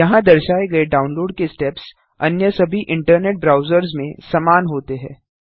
यहाँ दर्शाए गए डाउनलोड के स्टेप्स अन्य सभी इंटरनेट ब्राउजर्स में समान होते हैं